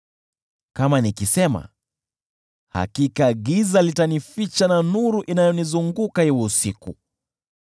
Kama nikisema, “Hakika giza litanificha na nuru inayonizunguka iwe usiku,”